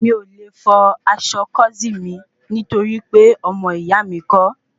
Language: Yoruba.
Mi ò le fọ aṣọ kósíìnì mi nítorí pé ọmọ ìyá mi kọ́